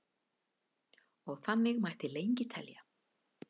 og þannig mætti lengi telja